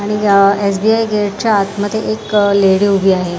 SBI गेटच्या आतमध्ये एक अ लेडी उभी आहे.